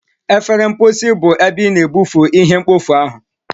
Efere mposi bụ ebe ị na-ebufe ihe mkpofu ahu.